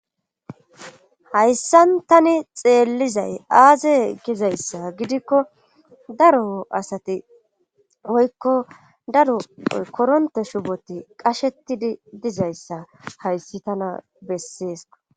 Hassan tani xeellizay aaze gizayssa gidikko daro asati woykko daro koronte shuboti qashetidi dizayssa hayssi tana besseesa.